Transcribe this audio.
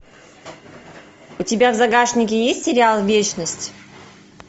у тебя в загашнике есть сериал вечность